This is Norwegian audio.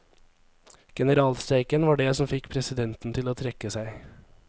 Generalstreiken var det som fikk presidenten til å trekke seg.